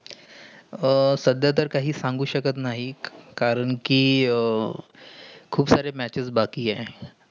अह सध्या तर काय सांगु शकत नाही. कारण कि, आह खूप सारे matches बाकी आहे.